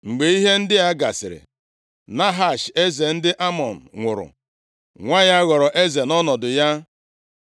Mgbe ihe ndị a gasịrị, Nahash eze ndị Amọn nwụrụ, nwa ya ghọrọ eze nʼọnọdụ ya.